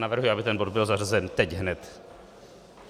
Navrhuji, aby ten bod byl zařazen teď hned.